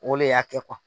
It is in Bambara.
O le y'a kɛ